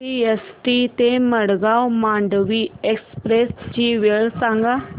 CST ते Madgaon Mandovi express ची वेळ सांगा